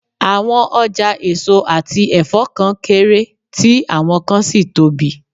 Àwọn ọjà èso àti ẹ̀fọ́ kan kéré, tí àwọn kan sì tóbi